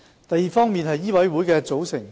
第二，醫委會的組成。